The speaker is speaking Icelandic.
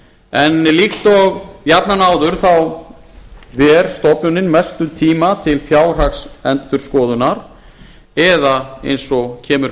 en líkt og jafnan áður þá ver stofnunin mestum tíma til fjárhagsendurskoðunar eða eins og kemur